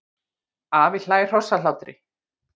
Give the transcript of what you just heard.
Afi hlær hrossahlátri.